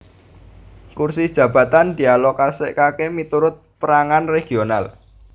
Kursi jabatan dialokasèkaké miturut pèrangan regional